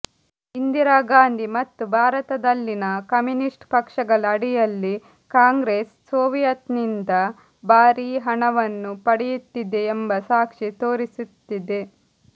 ಇಂದಿರಾ ಗಾಂಧಿ ಮತ್ತು ಭಾರತದಲ್ಲಿನ ಕಮ್ಯೂನಿಸ್ಟ್ ಪಕ್ಷಗಳ ಅಡಿಯಲ್ಲಿ ಕಾಂಗ್ರೆಸ್ ಸೋವಿಯತ್ನಿಂದ ಭಾರೀ ಹಣವನ್ನು ಪಡೆಯುತ್ತಿದೆ ಎಂಬ ಸಾಕ್ಷಿ ತೋರಿಸುತ್ತಿದೆ